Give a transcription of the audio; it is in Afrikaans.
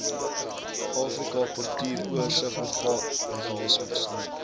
afrika portuuroorsigmeganisme nog